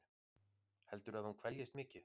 Heldurðu að hún kveljist mikið?